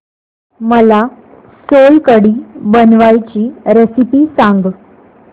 मला सोलकढी बनवायची रेसिपी सांग